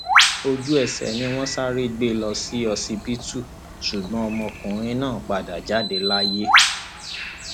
ojú ẹsẹ ni wọn sáré gbé e lọ sí ọsibítù ṣùgbọn ọmọkùnrin náà padà jáde láyé